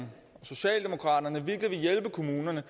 socialdemokraterne virkelig vil hjælpe kommunerne